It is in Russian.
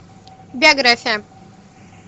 биография